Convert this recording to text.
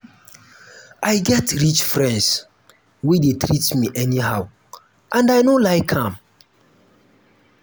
i get rich friends wey dey treat me anyhow and i no like am.